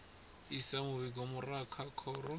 isa muvhigo murahu kha khoro